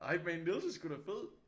Hypeman Niels er sgu da fed